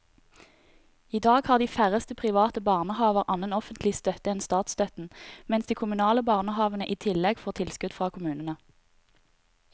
I dag har de færreste private barnehaver annen offentlig støtte enn statsstøtten, mens de kommunale barnehavene i tillegg får tilskudd fra kommunene.